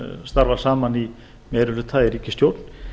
starfa saman í meiri hluta í ríkisstjórn